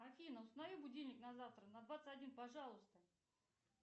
афина установи будильник на завтра на двадцать один пожалуйста